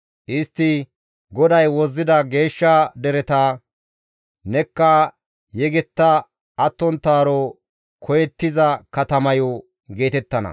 Istti, «GODAY Wozzida Geeshsha dereta; nekka Yegetta Attonttaaro koyettiza Katamayo» geetettana.